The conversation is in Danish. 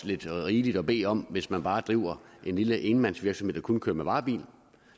lidt rigeligt at bede om hvis man bare driver en lille enmandsvirksomhed der kun kører med varebil